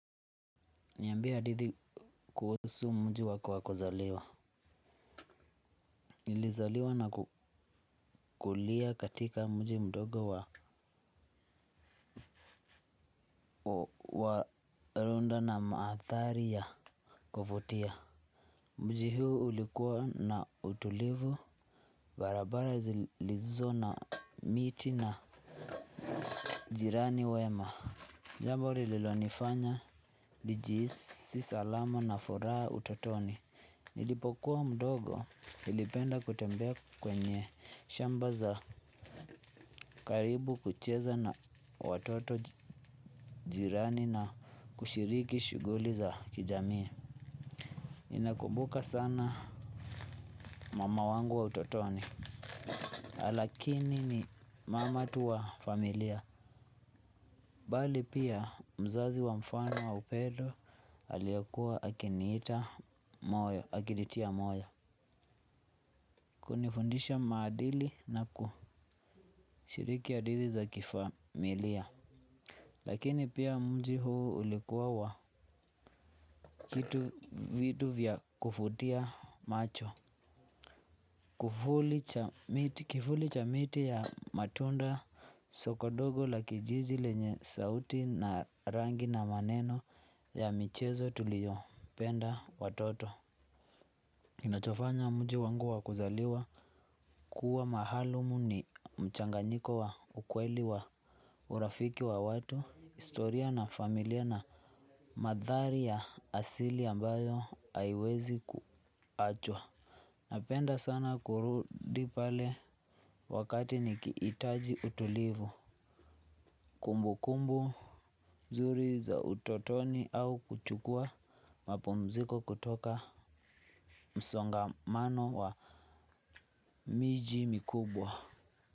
Niyambie hadithi kuhusu mji wako wa kuzaliwa. Nilizaliwa na kukulia katika mji mdogo wa runda na maadhari ya kuvutia. Mji huu ulikuwa na utulivu. Barabara zilizo na miti na jirani wema jambo lililonifanya nijihisi salama na furaha utotoni. Nilipokuwa mdogo nilipenda kutembea kwenye shamba za karibu kucheza na watoto jirani na kushiriki shughuli za kijamii ninakumbuka sana mama wangu wa utotoni. Lakini ni mama tu wa familia. Pale pia mzazi wa mfano wa upendo aliyekuwa akinitia moyo. Kunifundisha maadili na kushiriki adili za kifamilia. Lakini pia mji huu ulikuwa wa kitu vitu vya kuvutia macho. Kivuli cha miti ya matunda sokodogo la kijiji lenye sauti na rangi na maneno ya michezo tuliyo penda watoto nachofanya mji wangu wa kuzaliwa kuwa maalum ni mchanganyiko wa ukweli wa urafiki wa watu. Historia na familia na maandhari ya asili ambayo haiwezi kuachwa. Napenda sana kurudi pale wakati nikihitaji utulivu. Kumbu kumbu mzuri za utotoni au kuchukua mapumziko kutoka msongamano wa miji mikubwa.